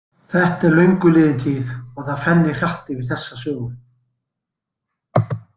Þetta er löngu liðin tíð og það fennir hratt yfir þessa sögu.